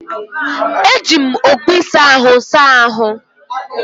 Eji m okpu ịsa ahụ saa ahụ́.